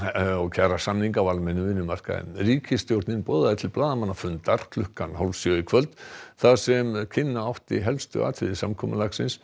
kjarasamninga á almennum vinnumarkaði ríkisstjórnin boðaði til blaðamannafundar klukkan hálf sjö í kvöld þar sem kynna átti helstu atriði samkomulagsins